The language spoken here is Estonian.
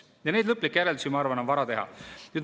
Neid lõplikke järeldusi, ma arvan, on vara teha.